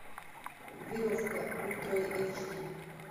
веревка ультра эйч ди